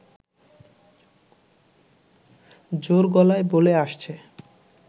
জোর গলায় বলে আসছে